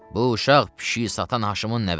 Bu uşaq pişiyi satan Haşımın nəvəsidir.